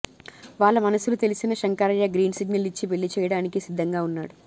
వాళ్ల మనసులు తెలిసిన శంకరయ్య గ్రీన్ సిగ్నల్ ఇచ్చి పెళ్లి చెయ్యడానికి సిద్ధంగా ఉన్నాడు